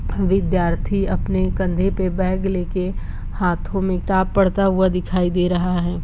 विद्यार्थी अपने कंधे पे बेग लेके हाथो में किताब पढता हुआ दिखाई दे रहा है।